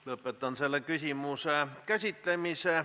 Lõpetan selle küsimuse käsitlemise.